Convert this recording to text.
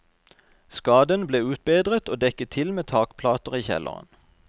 Skaden ble utbedret og dekket til med takplater i kjelleren.